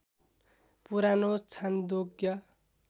पुरानो छान्दोग्य